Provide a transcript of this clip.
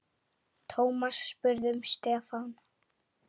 Thomas spurði um Stefán.